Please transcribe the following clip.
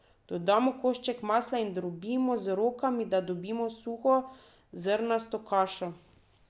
Dodamo koščke masla in drobimo z rokami, da dobimo suho, zrnasto kašo.